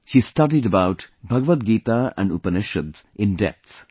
She studied about Bhagavad Gita and Upanishads in depth